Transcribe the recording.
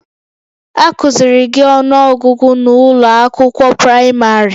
Akụ́ziiri gị ọnụọgụgụ n'ụlọ akwụkwọ praịmarị?